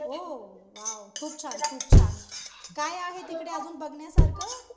ओ wow. खूप छान खूप छान. काय आहे तिकडे अजून बघण्यासारखं?